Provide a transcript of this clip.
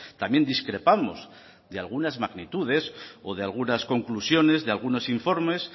también discrepamos de algunas magnitudes o de algunas conclusiones de algunos informes